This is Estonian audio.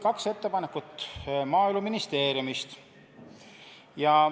Kaks ettepanekut tuli Maaeluministeeriumilt.